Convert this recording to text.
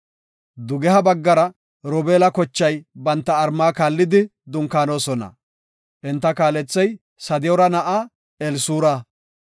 Dugeha baggara Robeela kochay banta malla kaallidi dunkaanona. Enta kaalethey Sadiyoora na7aa Elisuura.